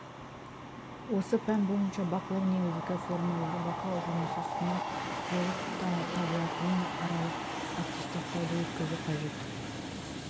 осы пән бойынша бақылау негізгі формалары бақылау жұмысы сынақ болып табылатын аралық аттестаттауды өткізу қажет